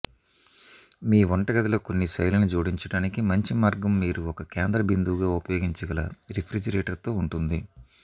మీ వంటగదిలో కొన్ని శైలిని జోడించడానికి మంచి మార్గం మీరు ఒక కేంద్ర బిందువుగా ఉపయోగించగల రిఫ్రిజిరేటర్తో ఉంటుంది